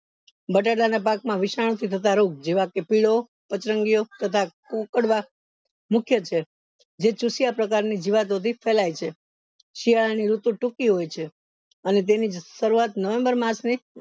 બટેટા ના પાક મા વિષન ની થતા રોગ જેવા કે પીળો પચરંગીયો તથા કુકડવા મુખ્ય છે જે ચૂસ્યા પ્રકારની જીવાતોથી ફેલાય છે શિયાળા ની ઋતુ ટૂંકી હોય છે અને તેની શરૂવાત november માસ ની